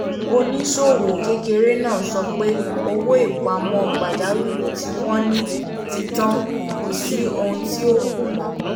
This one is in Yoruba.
oníṣòwò kékeré náà sọ pé owó ìpamọ́ pajawìrì tí wọ́n ní ti tán kò sí ohun tí ó kù mọ́